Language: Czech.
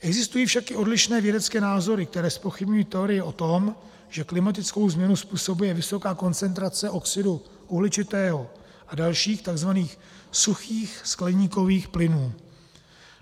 Existují však i odlišné vědecké názory, které zpochybňují teorii o tom, že klimatickou změnu způsobuje vysoká koncentrace oxidu uhličitého a dalších, tzv. suchých skleníkových plynů.